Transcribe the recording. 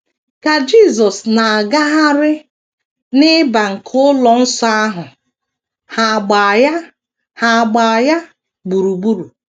Ka Jisọs na - agagharị n’ị̀bà nke ụlọ nsọ ahụ, ha agbaa ya ha agbaa ya gburugburu.